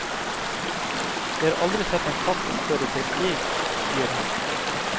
Jeg har aldri sett en katt oppføre seg slik, sier han.